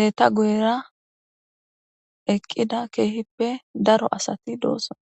eta guyra eqqida keehippe daro asati doossona